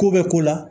Ko bɛ ko la